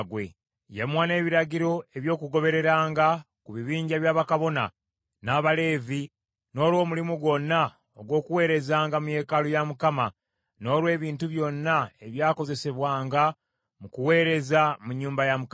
Yamuwa n’ebiragiro eby’okugobereranga ku bibinja bya bakabona, n’Abaleevi, n’olw’omulimu gwonna ogw’okuweerezanga mu yeekaalu ya Mukama , n’olw’ebintu byonna ebyakozesebwanga mu kuweereza mu nnyumba ya Mukama .